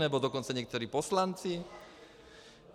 Nebo dokonce někteří poslanci?